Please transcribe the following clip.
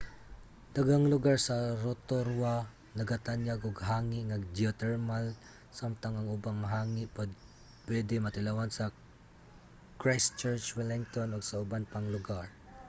daghang lugar sa rotorua nagatanyag og hangi nga geotermal samtang ang ubang hangi pwede matilawan sa christchurch wellington ug sa uban pang lugar